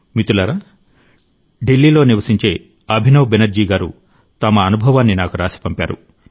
మిత్రులారా ఢిల్లీ లో నివసించే అభినవ్ బెనర్జీ గారు తమ అనుభవాన్ని నాకు రాసి పంపారు